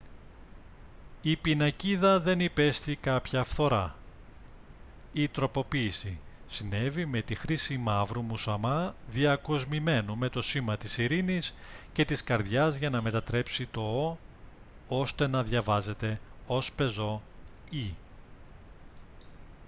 η πινακίδα δεν υπέστη κάποια φθορά. η τροποποίηση συνέβη με τη χρήση μαύρου μουσαμά διακοσμημένου με το σήμα της ειρήνης και της καρδιάς για να μετατρέψει το «o» ώστε να διαβάζεται ως πεζό «e»